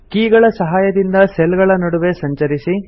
key ಗಳ ಸಹಾಯದಿಂದ cell ಗಳ ನಡುವೆ ಸಂಚರಿಸಿ